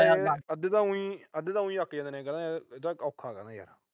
ਅੱਧੇ ਤਾਂ ਉਈ ਅਹ ਅੱਧੇ ਤਾਂ ਉਈ ਅੱਕ ਜਾਂਦੇ ਨੇ, ਇਹ ਤਾਂ ਔਖਾ ਕਹਿੰਦੇ।